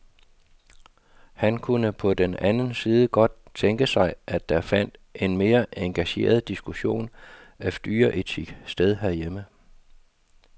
Han kunne på den anden side godt tænke sig, at der fandt en mere engageret diskussion af dyreetik sted herhjemme.